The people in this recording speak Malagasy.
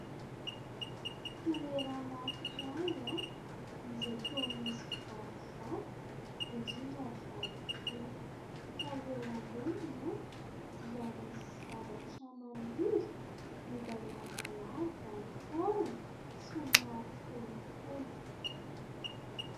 Toerana anankiray, izay toa misy vatovato ; indrindra vato kely. Fa eo amboniny, dia misy zavatra maniry izay lavalava ny tahony, somary fohifohy.